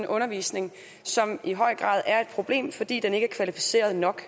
undervisning som i høj grad er et problem fordi den ikke er kvalificeret nok